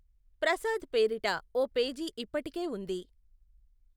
ప్రసాద్ పేరిట ఓ పేజీ ఇప్పటికే ఉంది.